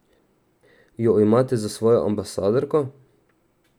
Jo imate za svojo ambasadorko?